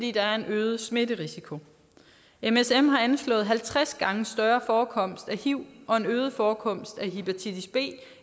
er der en øget smitterisiko msm anslås at have halvtreds gange større forekomst af hiv og en øget forekomst af hepatitis b